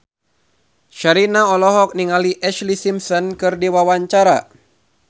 Sherina olohok ningali Ashlee Simpson keur diwawancara